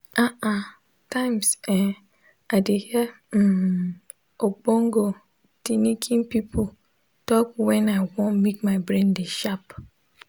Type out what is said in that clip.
ah ah times[um]i de hear hmm ogbonge tinikin pipu talk wen i want make my brain de sharp